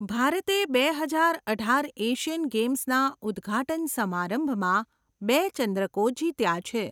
ભારતે બે હજાર અઢાર એશિયન ગેમ્સના ઉદ્ઘાટન સમારંભમાં બે ચંદ્રકો જીત્યા છે.